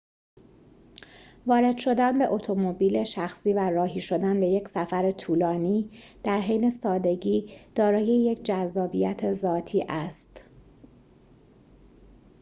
وارد شدن به اتومبیل شخصی و راهی شدن به یک سفر طولانی در حین سادگی دارای یک جذابیت ذاتی است